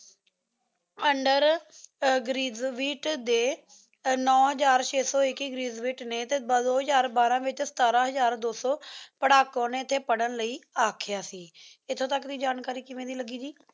ਦੇ ਨੋ ਹਜ਼ਾਰ ਛੇ ਸੋ ਇਕਿ ਗ੍ਰਾਦੁਆਤੇਨੀ ਦੋ ਹਜ਼ਾਰ ਬਾਰਾ ਵਿਚ ਸਤਰ ਹਜ਼ਾਰ ਦੋ ਸੂ ਪਾਰ੍ਹਾਕੁਵਾਂ ਨੀ ਏਥੀ ਪਰ੍ਹਨ ਲੈ ਏਥੀ ਅਖ੍ਯਾ ਸੀ ਇੱਥੋਂ ਤੱਕ ਦੀ ਜਾਣਕਾਰੀ ਕਿਵੇ ਦੀ ਲੱਗੀ ਜੀ